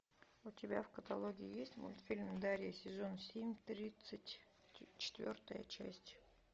у тебя в каталоге есть мультфильм дарья сезон семь тридцать четвертая часть